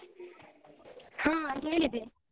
ಹಾ ಹೇಳಿದೆ.